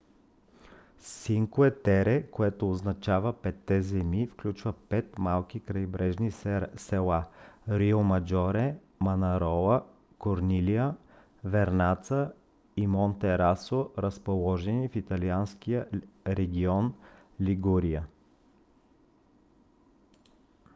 cinque terre което означава петте земи включва пет малки крайбрежни села риомаджоре манарола корнилия вернаца и монтероссо разположени в италианския регион лигурия